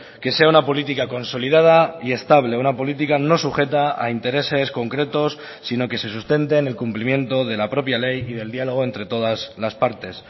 que sea una política consolidada y estable una política no sujeta a intereses concretos sino que se sustente en el cumplimiento de la propia ley y del diálogo entre todas las partes